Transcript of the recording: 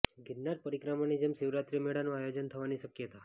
ગિરનાર પરિક્રમાની જેમ શિવરાત્રી મેળાનું આયોજન થવાની શકયતા